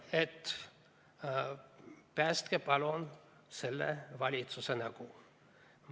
... et päästke, palun, selle valitsuse nägu.